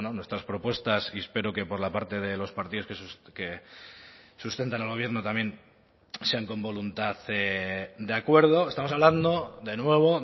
nuestras propuestas y espero que por la parte de los partidos que sustentan al gobierno también sean con voluntad de acuerdo estamos hablando de nuevo